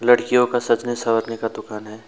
लड़कियों का सजने सवरने का दुकान है।